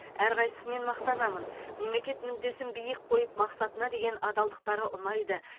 әрқайсысымен мақтанамын мемлекет мүддесін биік қойып мақсатына деген адалдықтары ұнайды